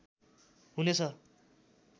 हुने छ